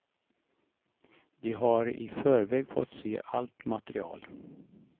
De har i förväg fått se allt material.